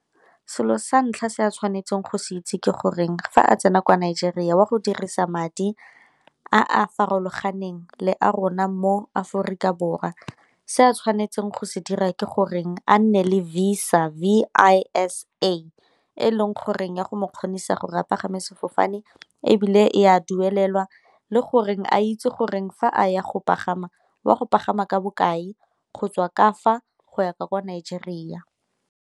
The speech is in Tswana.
Selo sa ntlha se a tshwanetseng go se itse ke goreng fa a tsena kwa Nigeria o a go dirisa madi a a farologaneng le a rona mo Aforikaborwa. Se a tshwanetseng go se dira gore goreng a nne le Visa, V_I_S_A e leng gore ya go mo kgonisa gore a pagame sefofane, ebile e a duelelwa le goreng a itse gore fa a ya go pagama wa go pagama ka bokae go tswa ka fa go ya kwa Nigeria.